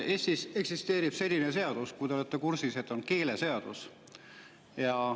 Eestis eksisteerib selline seadus, ehk olete kursis, nimelt keeleseadus.